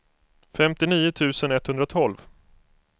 femtionio tusen etthundratolv